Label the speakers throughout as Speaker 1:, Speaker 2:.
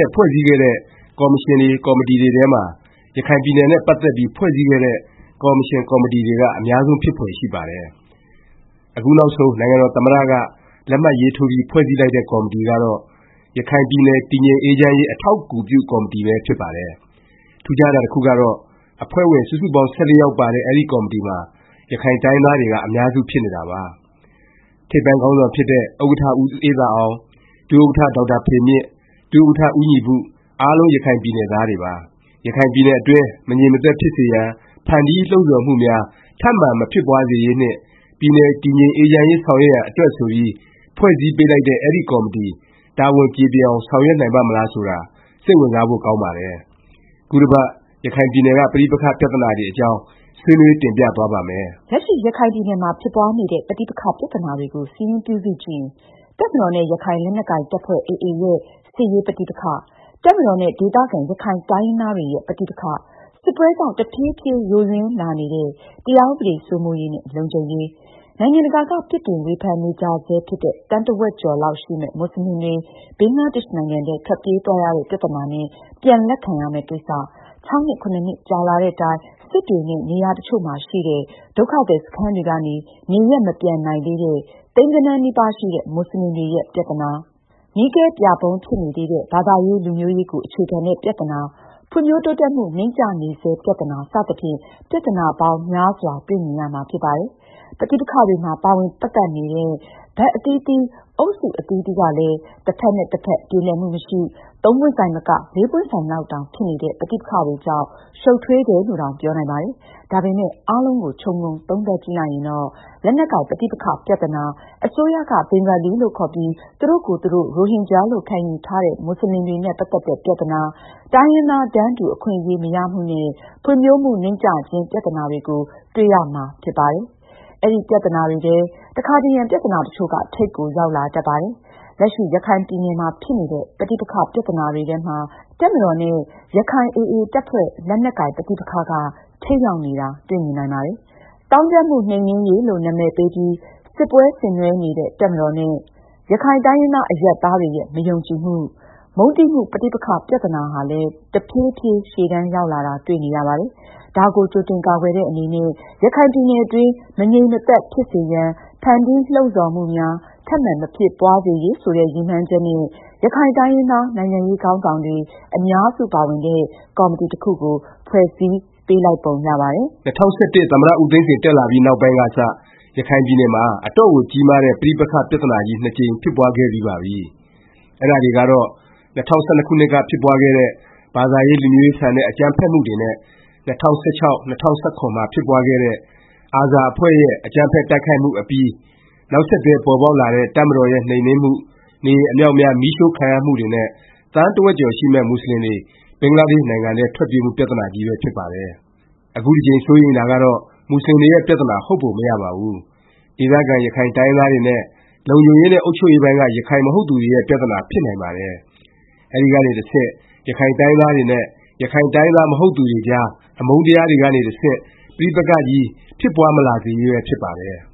Speaker 1: က် ဖွဲ့စည်းခဲ့တဲ့ ကော်မရှင်တွေ၊ ကော်မတီတွေထဲမှာ ရခိုင်ပြည်နယ်နဲ့ ပတ်သက်ပြီး ဖွဲ့စည်းခဲ့တဲ့ ကော်မရှင်၊ ကော်မတီတွေဟာ အများဆုံး ဖြစ်ဖွယ် ရှိပါတယ်။ အခုနောက်ဆုံး နိုင်ငံတော် သမ္မတ က လက်မှတ်ရေးထိုးပြီး ဖွဲ့စည်းလိုက်တဲ့ ကော်မတီကတော့ “ ရခိုင်ပြည်နယ် တည်ငြိမ်အေးချမ်းရေး အထောက်အကူပြု ကော်မတီ” ပဲ ဖြစ်ပါတယ်။ ထူးခြားတာ တစ်ခုကတော့ အဖွဲ့ဝင် စုစုပေါင်း ၁၄ ယောက်ပါတဲ့ အဲဒီ ကော်မတီမှာ ရခိုင်တိုင်းရင်းသားတွေက အများစု ဖြစ်နေတာပါ။ ထိပ်ပိုင်းခေါင်းဆောင်ဖြစ်တဲ့ ဥက္ကဌ ဦးအေးသာအောင်၊ ဒုဥက္ကဌ ဒေါက်တာဖေမြင့်၊ ဒုဥက္ကဌ ဦးညီပု အားလုံးရခိုင်ပြည်နယ်သားတွေပါ။ ရခိုင်ပြည်နယ်အတွင်း မငြိမ်မသက်ဖြစ်စေရန် ဖန်တီးလှုံ့ဆော်မှုများ ထပ်မံ မဖြစ်ပွားစေရေး နှင့် ပြည်နယ် တည်ငြိမ်အေးချမ်းရေး ဆောင်ရွက်နိုင်ရန် အတွက် ဆိုပြီး ဖွဲ့စည်းပေးလိုက်တဲ့ အဲဒီ ကော်မတီ တာဝန်ကျေပွန်အောင် ဆောင်ရွက်နိုင်ပါ့မလား ဆိုတာ စိတ်ဝင်စားဖို့ ကောင်းပါတယ်။ ခုတစ်ပတ် ရခိုင်ပြည်နယ်က ပဋိပက္ခ ပြသနာတွေအကြောင်း ဆွေးနွေးတင်ပြသွားပါ့မယ်။
Speaker 2: လက်ရှိ ရခိုင်ပြည်နယ်မှာ ဖြစ်ပွားနေတဲ့ ပဋိပက္ခ ပြသနာတွေကို စာရင်းပြုစုကြည့်ရင် တပ်မတော်နဲ့ ရခိုင်လက်နက်ကိုင် တပ်ဖွဲ့ AA ရဲ့ စစ်ရေး ပဋိပက္ခ၊ တပ်မတော်နဲ့ ဒေသခံ ရခိုင်တိုင်းရင်းသားတွေရဲ့ ပဋိပက္ခ၊ စစ်ပွဲကြောင့် တဖြေးဖြေး ယိုယွင်းလာနေတဲ့ တရားဥပဒေ စိုးမိုးရေးနဲ့ လုံခြုံရေး၊ နိုင်ငံတကာက ပြစ်တင် ဝေဖန်နေကြဆဲ ဖြစ်တဲ့ သန်းတစ်ဝက်ကျော်လောက် ရှိမယ့် မူဆလင်တွေ ဘင်္ဂလားဒေ့ရှ်နိုင်ငံထဲ ထွက်ပြေးသွားရတဲ့ ပြသနာနဲ့ ပြန်လက်ခံရမယ့် ကိစ္စ၊ ၆ နှစ် ၇ နှစ် ကြာလာသည့်တိုင် စစ်တွေ နဲ့ နေရာတစ်ချို့မှာရှိတဲ့ ဒုက္ခသည်စခန်းတွေကနေ နေရပ်မပြန်နိုင်သေးတဲ့ သိန်းဂဏန်းနီးပါးရှိတဲ့ မူဆလင်တွေရဲ့ ပြသနာ၊ မီးခဲပြာဖုံး ဖြစ်နေသေးတဲ့ ဘာသာရေး လူမျိုးရေး ကို အခြေခံတဲ့ ပြသနာ၊ ဖွံ့ဖြိုးတိုးတက်မှု နိမ့်ကျနေဆဲ ပြသနာ စသဖြင့် ပြသနာပေါင်း များစွာ တွေ့မြင်ရမှာ ဖြစ်ပါတယ်။ ပဋိပက္ခတွေမှာ ပါဝင်ပတ်သက်နေတဲ့ ဘက်အသီးသီး အုပ်စု အသီးသီးကလည်း တစ်ဖက်နဲ့ တစ်ဖက် ပြေလည်မှု မရှိ၊ သုံးပွင့်ဆိုင်မက လေးပွင့်ဆိုင်လောက်တောင် ဖြစ်နေတဲ့ ပဋိပက္ခတွေကြောင့် ရှုတ်ထွေးတယ်လို့တောင် ပြောနိုင်ပါတယ်။ ဒါပေမယ့် အားလုံးကို ခြုံငုံသုံးသပ်ကြည့်လိုက်ရင်တော့ လက်နက်ကိုင် ပဋိပက္ခ ပြသနာ၊ အစိုးရက ဘင်္ဂလီလို့ ခေါ်ပြီး သူတို့ကိုယ်သူတို့ ရိုဟင်ဂျာလို့ ခံယူထားတဲ့ မူဆလင်တွေနဲ့ ပတ်သက်တဲ့ ပြသနာ၊ တိုင်းရင်းသား တန်းတူ အခွင့်အရေး မရမှုနဲ့ ဖွံ့ဖြိုးမှု နိမ့်ကျခြင်း ပြသနာတွေကို တွေ့ရမယ် ဖြစ်ပါတယ်။ အဲဒီပြသနာတွေထဲမှာ တခါတရံ ပြသနာတစ်ချို့က ထိပ်ကို ရောက်လာတတ်ပါတယ်။ လက်ရှိ ရခိုင်ပြည်နယ်မှာ ဖြစ်နေတဲ့ ပဋိပက္ခ ပြသနာတွေထဲမှာ တပ်မတော်နဲ့ ရခိုင်AA တပ်ဖွဲ့ လက်နက်ကိုင်ပဋ္ဋိပက္ခက ထိပ်ရောက်နေတာ တွေ့မြင်နိုင်ပါတယ်။ သောင်းကျန်းမှု နှိမ်နင်းရေး လို့ နာမည်ပေးပြီး စစ်ပွဲဆင်နွဲှနေတဲ့ တပ်မတော်နဲ့ ရခိုင်တိုင်းရင်းသား အရပ်သားတွေရဲ့ မယုံကြည်မှု၊ မုန်းတီးမှု ပဋိပက္ခ ပြသနာဟာလည်း တဖြေးဖြေး ရှေ့တန်းရောက်လာတာ တွေ့နေရပါတယ်။ ဒါကို ကြိုတင်ကာကွယ်တဲ့ အနေနဲ့ ရခိုင်ပြည်နယ်အတွင်း မငြိမ်မသက် ဖြစ်စေရန် ဖန်တီးလှုံ့ဆော်မှုများ ထပ်မံ မဖြစ်ပွားစေရေး ဆိုတဲ့ ရည်မှန်းချက်နဲ့ ရခိုင်တိုင်းရင်းသား နိုင်ငံရေးခေါင်းဆောင်တွေ အများစုပါဝင်တဲ့ ကော်မတီတစ်ခုကို ဖွဲ့စည်းပေးလိုက်ပုံ ရပါတယ်
Speaker 1: ။ ၂၀၁၁ သမ္မတ ဦးသိန်းစိန် တက်လာပြီးနောက်ပိုင်းကစ ရခိုင်ပြည်နယ်မှာ အတော့်ကိုကြီးမားတဲ့ ပဋိပက္ခ ပြသနာကြီး ၂ ကြိမ် ဖြစ်ပွားခဲ့ပြီးပါပြီ။ အဲဒါတွေကတော့ ၂၀၁၂ ခုနှစ်က ဖြစ်ပွားခဲ့တဲ့ ဘာသာရေး လူမျိုးရေးဆန်တဲ့ အကြမ်းဖက်မှုတွေနဲ့ ၂၀၁၆-၂၀၁၇ မှာ ဖြစ်ပွားခဲ့တဲ့ ARSA အဖွဲ့ရဲ့ အကြမ်းဖက် တိုက်ခိုက်မှုအပြီး နောက်ဆက်တွဲ ပေါ်ပေါက်လာတဲ့ တပ်မတော်ရဲ့ နှိမ်နင်းမှု၊ နေအိမ်အမြောက်အများ မီးရှို့ခံရမှုတွေ နဲ့ သန်းတစ်ဝက်ကျော် ရှိမယ့် မူဆလင်တွေ ဘင်္ဂလားဒေ့ရှ်နိုင်ငံထဲ ထွက်ပြေးမှု ပြသနာကြီးပဲ ဖြစ်ပါတယ်။ အခုတစ်ကြိမ် စိုးရိမ်တာကတော့ မူဆလင်တွေရဲ့ ပြသနာ ဟုတ်ပုံမရပါဘူး။ ဒေသခံ ရခိုင်တိုင်းရင်းသားတွေနဲ့ လုံခြုံရေးနဲ့ အုပ်ချုပ်ရေးပိုင်းက ရခိုင်မဟုတ်သူတွေရဲ့ ပြသနာ ဖြစ်နိုင်ပါတယ်။ အဲဒီကနေ တဆင့် ရခိုင်တိုင်းရင်းသားတွေ နဲ့ ရခိုင်တိုင်းရင်းသား မဟုတ်သူတွေကြား အမုန်းတရားတွေကနေ တဆင့် ပဋိပက္ခကြီး ဖြစ်ပွားမလာစေရေး ပဲ ဖြစ်ပါတယ်။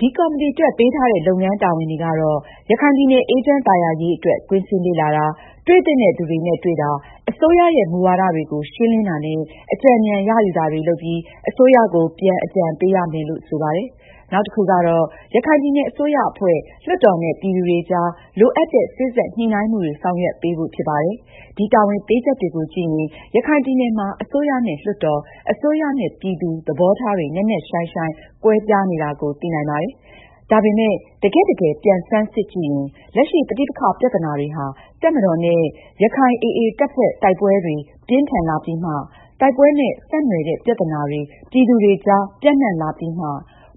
Speaker 2: ဒီကော်မတီအတွက် ပေးထားတဲ့ လုပ်ငန်းတာဝန်တွေကတော့ ရခိုင်ပြည်နယ် အေးချမ်းသာယာရေး အတွက် ကွင်းဆင်းလေ့လာတာ၊ တွေ့သင့်တဲ့သူတွေနဲ့ တွေ့တာ၊ အစိုးရရဲ့ မူဝါဒတွေကို ရှင်းလင်းတာနဲ့ အကြံဉာဏ် ရယူတာတွေ လုပ်ပြီး အစိုးရကို ပြန် အကြံပေးရမယ်လို့ ဆိုပါတယ်။ နောက်တစ်ခုကတော့ ရခိုင်ပြည်နယ် အစိုးရအဖွဲ့၊ လွှတ်တော်နဲ့ ပြည်သူတွေကြား လိုအပ်တဲ့ စေ့စပ်ညှိနှိုင်းမှုတွေ ဆောင်ရွက်ပေးဖို့ ဖြစ်ပါတယ်။ ဒီ တာဝန်ပေးချက်တွေကိုကြည့်ရင် ရခိုင်ပြည်နယ်မှာ အစိုးရနဲ့ လွှတ်တော်၊ အစိုးရနဲ့ ပြည်သူ၊ သဘောထားတွေ နက်နက်ရှိုင်းရှိုင်း ကွဲပြားနေတာကို သိနိုင်ပါတယ်။ ဒါပေမယ့် တကယ့်တကယ် ပြန်ဆန်းစစ်ကြည့်ရင် လက်ရှိ ပဋိပက္ခ ပြသနာတွေဟာ တပ်မတော်နဲ့ ရခိုင် AA တပ်ဖွဲ့ တိုက်ပွဲတွေ ပြင်းထန်လာပြီးမှ၊ တိုက်ပွဲနဲ့ ဆက်နွှယ်တဲ့ ပြသနာတွေ ပြည်သူတွေကြား ပျံ့နှံ့လာပြီးမှ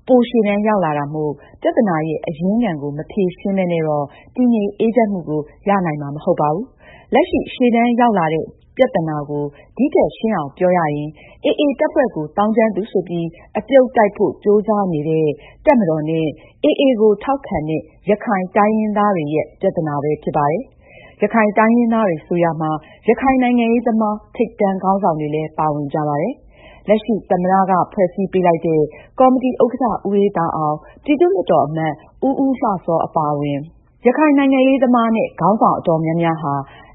Speaker 2: ပိုရှေ့တန်းရောက်လာတာမို့ ပြသနာရဲ့ အရင်းခံကို မဖြေရှင်းပဲနဲ့တော့ တည်ငြိမ်အေးချမ်းမှုကို ရနိုင်မှာ မဟုတ်ပါဘူး။ လက်ရှိ ရှေ့တန်းရောက်လာတဲ့ ပြသနာကို ဒီထက် ရှင်းအောင်ပြောရရင် AA တပ်ဖွဲ့ကို သောင်းကျန်းသူ ဆိုပြီး အပြုတ်တိုက်ဖို့ ကြိုးစားနေတဲ့ တပ်မတော်နဲ့ AA ကိုထောက်ခံတဲ့ ရခိုင်တိုင်းရင်းသားတွေရဲ့ ပြသနာပဲ ဖြစ်နေပါတယ်။ ရခိုင်တိုင်းရင်းသားတွေ ဆိုရာမှာ ရခိုင်နိုင်ငံရေးသမား ထိပ်တန်းခေါင်းဆောင်တွေလည်း ပါဝင်ကြပါတယ်။ လက်ရှိ သမ္မတ က ဖွဲ့စည်းပေးလိုက်တဲ့ ကော်မတီ က ကော်မတီဝင် တစ်ချို့ အပါအဝင် ရခိုင်နိုင်ငံရေးသမားနဲ့ ခေါင်းဆောင် အတော်များများဟာ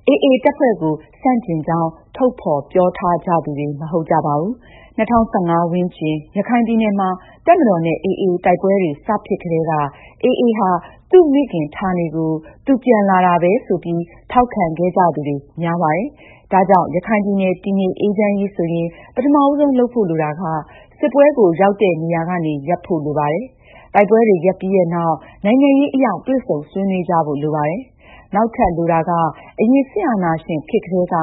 Speaker 2: AA တပ်ဖွဲ့ကို ဆန့်ကျင်သူတွေ မဟုတ်ကြပါဘူး။ ၂၀၁၅ ဝန်းကျင် ရခိုင်ပြည်နယ်မှာ တပ်မတော်နဲ့ AA တိုက်ပွဲတွေ စ ဖြစ်ကတည်းက AA ဟာ သူ့မိခင်ဌာနေကို သူ ပြန်လာတာပဲ ဆိုပြီး ထောက်ခံခဲ့ကြသူတွေ များပါတယ်။ ဒါကြောင့် ရခိုင်ပြည်နယ် တည်ငြိမ်အေးချမ်းရေး ဆိုရင် ပထမဦးဆုံး လုပ်ဖို့ လိုတာက စစ်ပွဲကို ရောက်တဲ့နေရာကနေ ရပ်ဖို့ လိုပါတယ်။ တိုက်ပွဲတွေ ရပ်ပြီးနောက် နိုင်ငံရေးအရ တွေ့ဆုံဆွေးနွေးကြဖို့ လိုပါတယ်။ နောက်ထပ် လိုတာက အရင် စစ်အာဏာရှင်ခေတ်ကတည်းက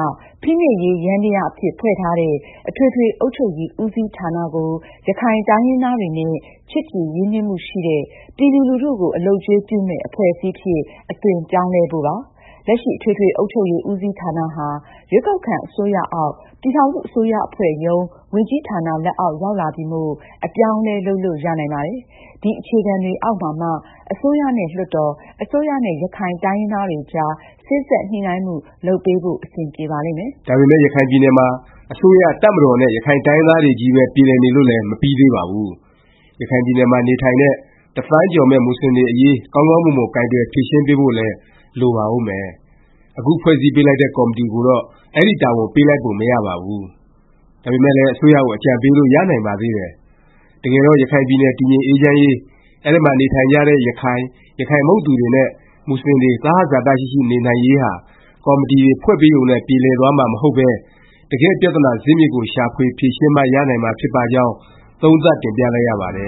Speaker 2: ဖိနှိပ်ရေးယန္တယား အဖြစ် ဖွဲ့ထားတဲ့ အထွေထွေ အုပ်ချုပ်ရေး ဦးစီးဌာနကို ရခိုင်တိုင်းရင်းသားတွေနဲ့ ချစ်ကြည်ရင်းနှီးမှုရှိတဲ့၊ ပြည်သူလူထုကို အလုပ်အကျွေးပြုမယ့် အဖွဲ့အစည်းအဖြစ် အသွင်ပြောင်းလဲဖို့ပါ။ လက်ရှိ အထွေထွေ အုပ်ချုပ်ရေး ဦးစီးဌာနဟာ ရွေးကောက်ခံ အစိုးရအောက်၊ ပြည်ထောင်စု အစိုးရအဖွဲ့ရုံး ဝန်ကြီးဌာန လက်အောက် ရောက်လာပြီမို့ အပြောင်းအလဲ လုပ်လို့ ရနိုင်ပါတယ်။ ဒီအခြေခံတွေ အောက်မှာမှ အစိုးရနဲ့ လွှတ်တော်၊ အစိုးရနဲ့ ရခိုင်တိုင်းရင်းသားတွေကြား စေ့စပ်ညှိနှိုင်းမှု လုပ်ပေးဖို့ အဆင်ပြေပါလိမ့်မယ်
Speaker 1: ။ ဒါပေမယ့် ရခိုင်ပြည်နယ်မှာ အစိုးရ၊ တပ်မတော်နဲ့ ရခိုင်တိုင်းရင်းသားတွေချည်းပဲ ပြေလည်နေလို့လည်း မပြီးသေးပါဘူး။ ရခိုင်ပြည်နယ်မှာ နေထိုင်နေတဲ့ တစ်သန်းကျော်မယ့် မူဆလင်တွေအရေး ကောင်းကောင်းမွန်မွန် ကိုင်တွယ်ဖြေရှင်းပေးဖို့လည်း လိုပါဦးမယ်။ အခု ဖွဲ့စည်းပေးလိုက်တဲ့ ကော်မတီကိုတော့ အဲဒီတာဝန် ပေးလိုက်ပုံ မရပါဘူး။ ဒါပေမယ့်လည်း အစိုးရကို အကြံပေးလို့ ရနိုင်ပါသေးတယ်။ တကယ်တော့ ရခိုင်ပြည်နယ် တည်ငြိမ်အေးချမ်းရေး၊ အဲဒီမှာ နေထိုင်ကြတဲ့ ရခိုင်၊ ရခိုင်မဟုတ်သူတွေ နဲ့ မူဆလင်တွေ သဟဇာတ ရှိရှိနေနိုင်ရေးဟာ ကော်မတီတွေ ဖွဲ့ပေးရုံနဲ့ ပြေလည်သွားမှာ မဟုတ်ပဲ တကယ့် ပြသနာဇစ်မြစ်ကို ရှာဖွေ ဖြေရှင်းမှ ရနိုင်မှာ ဖြစ်ပါကြောင်း သုံးသပ်တင်ပြလိုက်ရပါတယ